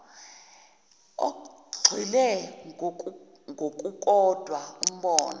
ogxile kokukodwa umbono